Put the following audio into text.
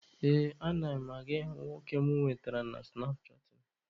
Ee, ana m aga ịhụ nwoke mụ nwetara na sụnapchaatịn.